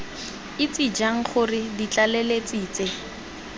itse jang gore ditlaleletsi tse